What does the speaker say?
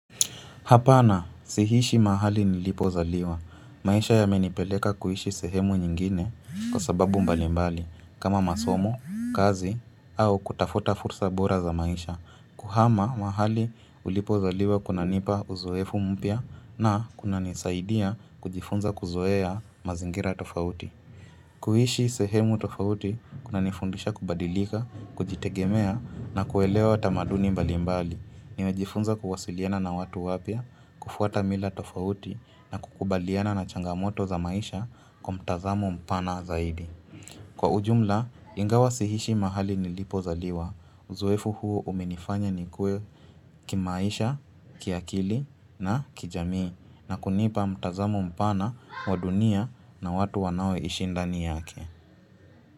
Hapana, sihishi mahali nilipo zaliwa. Maisha yamenipeleka kuishi sehemu nyingine kwa sababu mbalimbali kama masomo, kazi au kutafuta fursa bora za maisha. Kuhama mahali ulipozaliwa kunanipa uzoefu mpia na kuna nisaidia kujifunza kuzoea mazingira tofauti. Kuishi sehemu tofauti, kuna nifundisha kubadilika, kujitegemea na kuelewa tamaduni mbalimbali. Niwejifunza kuwasiliana na watu wapia, kufuata mila tofauti na kukubaliana na changamoto za maisha kwa mtazamo mpana zaidi. Kwa ujumla, ingawa siishi mahali nilipozaliwa, uzoefu huo umenifanya nikue kimaisha, kiakili na kijamii na kunipa mtazamo mpana wa dunia na watu wanao ishindani yake.